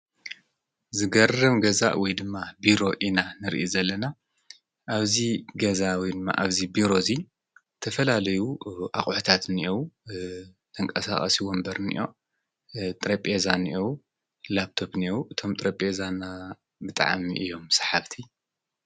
ዝገርም ገዛ ወይድማ ቢሮ ኢና ንርኢ ዘላና ኣብዚ ገዛ ወይድማ ኣብዚ ቢሮ እዚ ተፈላለዩ አቑሑታት እንአዉ ተንቀሳቃሲ ወንበር እኒኦ፣ ጠረጴዛ እኒኦ፣ ላፕቶፕ እኒኦ፣ እቶም ጠረጴዛ ና ብጣዕሚ እዮም ሰሓብቲ ።